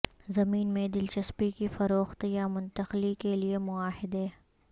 زمین میں دلچسپی کی فروخت یا منتقلی کے لئے معاہدے